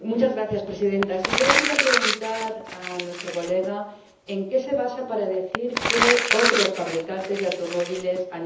Yo le quería preguntar a nuestro colega en qué se basa para decir que otros fabricantes de automóviles han hecho lo mismo.